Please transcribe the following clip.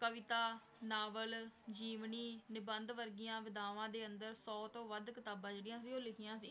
ਕਵਿਤਾ, novel, ਜੀਵਨੀ, ਨਿਬੰਧ ਵਰਗੀਆਂ ਵਿਧਾਵਾਂ ਦੇ ਅੰਦਰ ਸ਼ੌ ਤੋਂ ਵੱਧ ਕਿਤਾਬਾਂ ਜਿਹੜੀਆਂ ਸੀ ਉਹ ਲਿਖੀਆਂ ਸੀ,